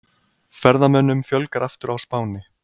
Ferðamönnum fjölgar aftur á Spáni